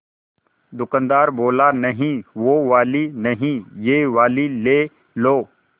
दुकानदार बोला नहीं वो वाली नहीं ये वाली ले लो